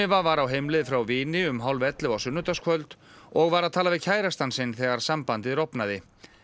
var á heimleið frá vini um hálfellefu á sunnudagskvöld og var að tala við kærastann sinn þegar sambandið rofnaði